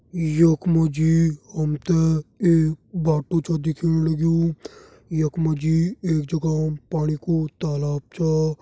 यख मा जी हम त एक बाटू छ दिखेण लग्युं यख मा जी एक जगह पाणी कू तालाब छा।